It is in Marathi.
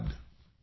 धन्यवाद